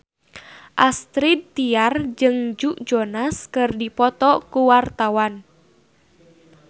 Astrid Tiar jeung Joe Jonas keur dipoto ku wartawan